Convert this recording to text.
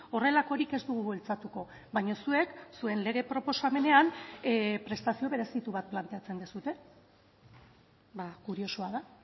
horrelakorik ez dugu bultzatuko baina zuek zuen lege proposamenean prestazio berezitu bat planteatzen duzue kuriosoa da